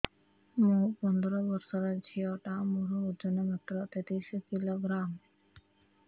ମୁ ପନ୍ଦର ବର୍ଷ ର ଝିଅ ଟା ମୋର ଓଜନ ମାତ୍ର ତେତିଶ କିଲୋଗ୍ରାମ